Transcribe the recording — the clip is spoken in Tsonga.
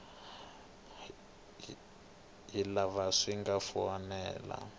hi laha swi nga fanela